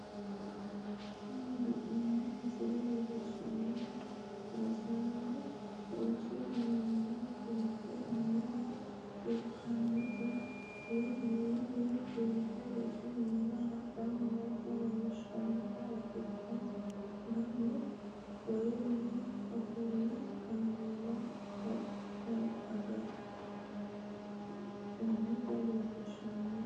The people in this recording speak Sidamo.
Tini la'neemo misile leellishanohu rossaano rosu minini fulite minira higanotta woyi minini fulite rosu minira hadhanottanna leellishanotta ikkitte gamu kayini ofoole kameella agafhinotta leelliishano